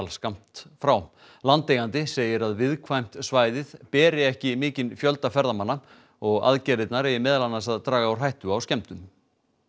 skammt frá landeigandi segir að viðkvæmt svæðið beri ekki mikinn fjölda ferðamanna og aðgerðirnar eigi meðal annars að draga úr hættu á skemmdum